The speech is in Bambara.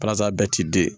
Parasa bɛɛ ti den